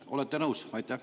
Olete nõus?